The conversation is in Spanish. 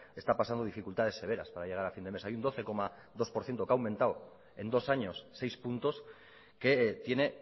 está pasando dificultades severas para llegar a fin de mes hay un doce coma dos por ciento que ha aumentado en dos años seis puntos que tiene